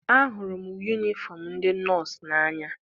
Ahụrụ m yunifọm ndị nọọsụ n'anya.